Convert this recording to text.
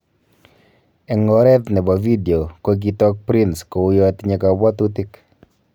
Eng oret nebo video ko kitook Prince kouya tinye kabwatutik